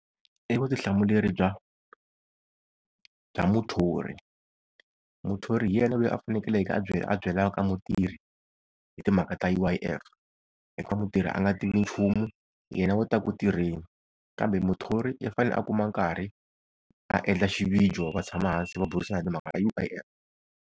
I vutihlamuleri bya, bya muthori. Muthori hi yena loyi a fanekeleke a a byelaka mutirhi hi timhaka ta U_I_F, hikuva mutirhi a nga tivi nchumu yena o ta ku tirheni. Kambe muthori u fanele a kuma nkarhi a endla xivijo va tshama hansi va burisana hi timhaka ta U_I_F.